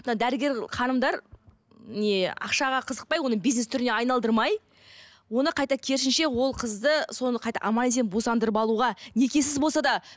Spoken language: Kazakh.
мына дәрігер ханымдар не ақшаға қызықпай оны бизнес түріне айналдырмай оны қайта керісінше ол қызды соны қайта аман есен босандырып алуға некесіз болса да